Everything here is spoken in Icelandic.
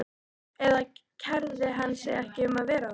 Eða kærði hann sig ekki um að vera það?